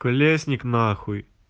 колесник нахуй